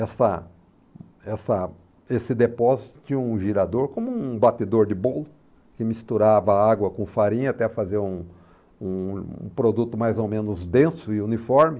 Essa essa esse depósito tinha um girador como um batedor de bolo, que misturava água com farinha até fazer um um produto mais ou menos denso e uniforme.